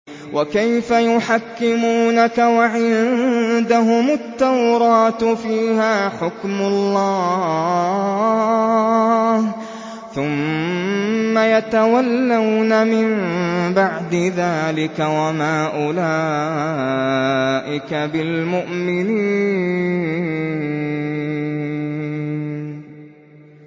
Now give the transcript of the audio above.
وَكَيْفَ يُحَكِّمُونَكَ وَعِندَهُمُ التَّوْرَاةُ فِيهَا حُكْمُ اللَّهِ ثُمَّ يَتَوَلَّوْنَ مِن بَعْدِ ذَٰلِكَ ۚ وَمَا أُولَٰئِكَ بِالْمُؤْمِنِينَ